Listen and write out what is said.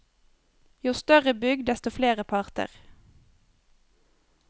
Jo større bygg, desto flere parter.